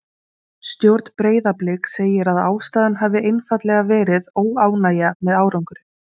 Stjórn Breiðabliks segir að ástæðan hafi einfaldlega verið óánægja með árangurinn.